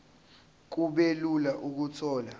kube lula ukuthola